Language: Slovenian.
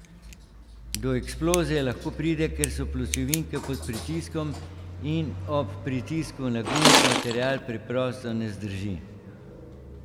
Do eksplozije lahko pride, ker so pločevinke pod pritiskom in ob pritisku na gumb material preprosto ne zdrži.